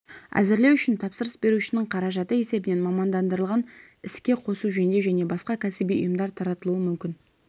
әзірлеу үшін тапсырыс берушінің қаражаты есебінен мамандандырылған іске қосу-жөндеу және басқа кәсіби ұйымдар тартылуы мүмкін